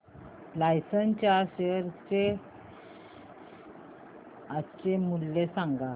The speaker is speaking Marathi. लार्सन च्या शेअर चे आजचे मूल्य सांगा